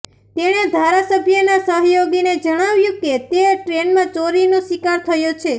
તેણે ધારાસભ્યના સહયોગીને જણાવ્યું કે તે ટ્રેનમાં ચોરીનો શિકાર થયો છે